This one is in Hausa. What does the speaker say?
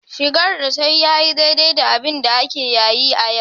Shigar da ta yi ya yi daidai da abinda ake yayi a yau.